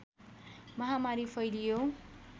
महामारी फैलियो